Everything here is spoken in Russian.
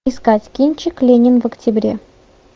искать кинчик ленин в октябре